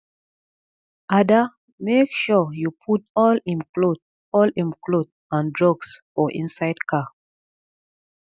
ada make sure you put all im cloth all im cloth and drugs for inside car